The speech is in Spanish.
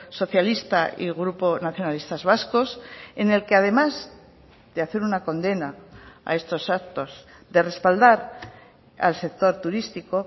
socialista y grupo nacionalistas vascos en el que además de hacer una condena a estos actos de respaldar al sector turístico